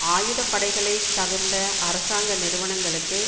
ஆயுத படைகளை தவிர்ந்த அரசாங்க நிறுவனங்களுக்கு